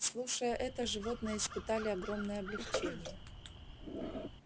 слушая это животные испытали огромное облегчение